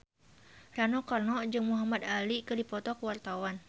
Rano Karno jeung Muhamad Ali keur dipoto ku wartawan